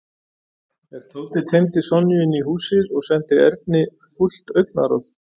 En Tóti teymdi Sonju inn í húsið og sendi Erni fúlt augnaráð.